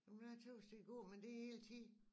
Jeg tøs det er at gå men det er hele tiden